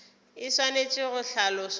e swanetše go hlaloswa bjalo